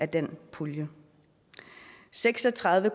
den pulje seks og tredive